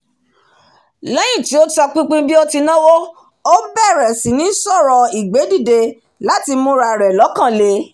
lẹ́yín tí ó tọpinpin bí ó tí náwó ó bẹ̀rẹ̀ síní sọ̀rọ̀ ìgbédìde láti mú ra rẹ̀ lọ́kan le